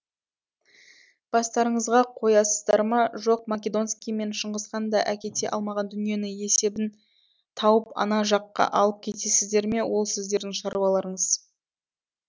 бастарыңызға қоясыздар ма жоқ македонский мен шыңғысхан да әкете алмаған дүниені есебін тауып ана жаққа алып кетесіздер ме ол сіздердің шаруаларыңыз